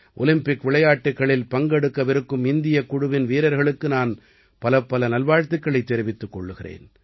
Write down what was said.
Olympic விளையாட்டுக்களில் பங்கெடுக்கவிருக்கும் இந்தியக் குழுவின் வீர்களுக்கு நான் பலப்பல நல்வாழ்த்துக்களைத் தெரிவித்துக் கொள்கிறேன்